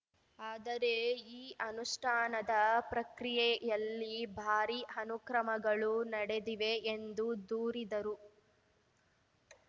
ಆದರೆ ಈ ಅನುಷ್ಠಾನದ ಪ್ರಕ್ರಿಯೆಯಲ್ಲಿ ಭಾರಿ ಅನುಕ್ರಮಗಳು ನಡೆದಿವೆ ಎಂದು ದೂರಿದರು